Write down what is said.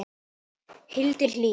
Hildur Hlín.